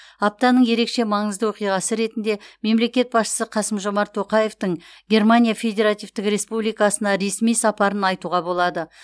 аптаның ерекше маңызды оқиғасы ретінде мемлекет басшысы қасым жомарт тоқаевтың германия федеративтік республикасына ресми сапарын айтуға болады